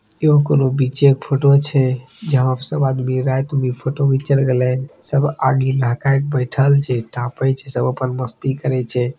एगो कोनो पीछे एक फोटो छै जहां प सब आदमी रात में फोटो घिचेल गले सब आगिन लहकाए के बैठल छै तापे छै सब अपन मस्ती करे छै|